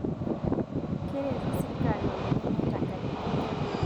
Keretu sirkali lolo lemeta nkajijik